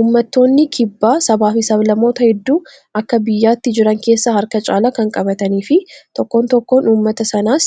Uummattoonni kibbaa Sanaa fi sab-lammoota hedduu Akka biyyaatti jiran keessaa harka caalaa kan qabaatanii fi tokkoon tokkoo uummata kanaas